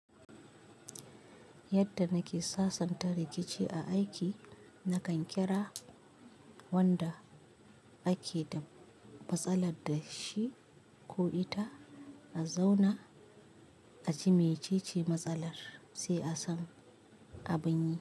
Yadda nake sasanta rikici a aiki, nakan kira wanda ake da matsalar da shi ko ita a zauna a ji mecece matsalar sai a sam abin yi.